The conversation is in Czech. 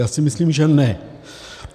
Já si myslím, že ne.